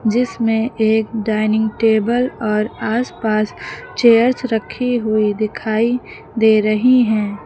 जिसमें एक dining table और आसपास चेयर्स रखी हुई दिखाई दे रही हैं।